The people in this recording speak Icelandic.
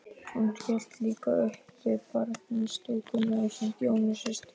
Hún hélt líka uppi barnastúkunni ásamt Jónu systur sinni.